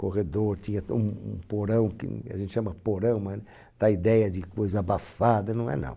Corredor, tinha um um porão, que a gente chama porão, mas, dá ideia de coisa abafada, não é não.